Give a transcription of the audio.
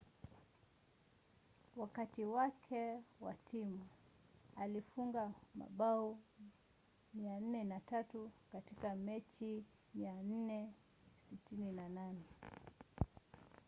wakati wake na timu alifunga mabao 403 katika mechi 468